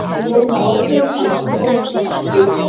Við vorum með ákveðið plan sem tókst ekki úti.